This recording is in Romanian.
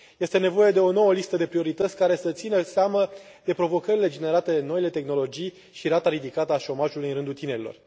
Este nevoie de o nouă listă de priorități, care să țină seama de provocările generate de noile tehnologii și de rata ridicată a șomajului în rândul tinerilor.